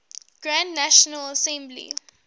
grand national assembly